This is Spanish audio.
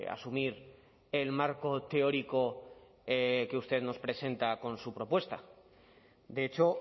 asumir el marco teórico que usted nos presenta con su propuesta de hecho